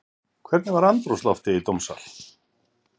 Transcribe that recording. Hvernig var andrúmsloftið í dómssal?